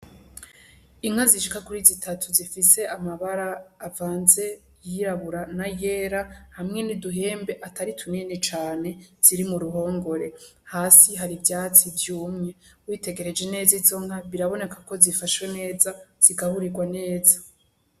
Inka zishika kuri zitatu zifise amabara avanze ayirabura n'ayera, hamwe n'uduhembe atari tunini cane ziri mu ruhongore, hasi hari ivyatsi vyumye, witegereje neza izo nka biraboneka ko zifashwe neza, zigaburirwa neza.